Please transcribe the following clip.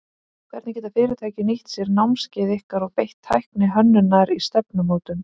Hvernig geta fyrirtæki nýtt sér námskeið ykkar og beitt tækni hönnunar í stefnumótun?